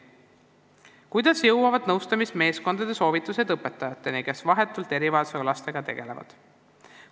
"Kuidas jõuavad nõustamismeeskondade soovitused õpetajateni, kes vahetult erivajadustega lastega tegelevad?